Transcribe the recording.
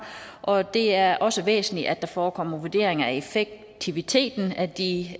og det er også væsentligt at der forekommer vurderinger af effektiviteten af de